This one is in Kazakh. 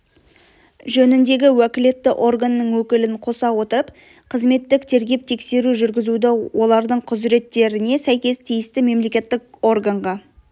жөніндегі уәкілетті органның өкілін қоса отырып қызметтік тергеп-тексеру жүргізуді олардың құзыреттеріне сәйкес тиісті мемлекеттік органға